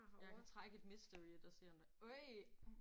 Jeg kan trække et mystery et og se om der øj